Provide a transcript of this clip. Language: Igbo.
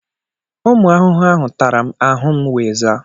Ụmụ ahụhụ ahụ tara m, ahụ m wee zaa.